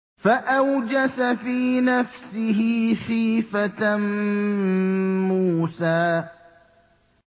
فَأَوْجَسَ فِي نَفْسِهِ خِيفَةً مُّوسَىٰ